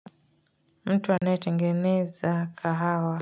Mtu anayetengeneza kahawa.